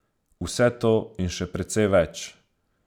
Vse to in še precej več!